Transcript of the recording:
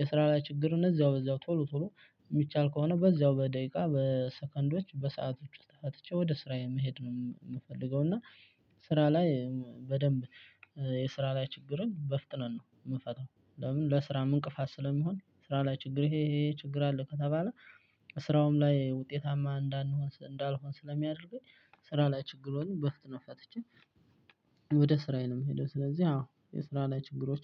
የስራ ላይ ችግር እነዛው በዛው ቶሎ ቶሎ የሚቻል ከሆነ በዛው በደቂቃ በሰከንዶች በሰአቶች ውስጥ ፈትቼ ወደ ስራዬ መሄድ ነው የምፈልገው። እና ስራ ላይ በደንብ የስራ ላይ ችግርን በፍጥነት ነው የምፈታው። ለምን ለስራ ምን እንቅፋት ስለመሆን ስራ ላይ ችግር ይሄ ይሄ ችግር አለ ከተባለ። ስራውም ላይ ውጤታማ እንዳንሆን እንዳልሆን ስለሚያደርገኝ ስራ ላይ ችግሩን በፍጥነት ፈትቼ ወደ ስራዬ ነው የምሄደው። ስለዚህ አዎ የስራ ላይ ችግሮች